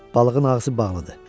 Balığın ağzı bağlıdır.